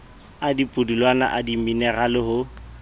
a dipudulwana a dimenerale ho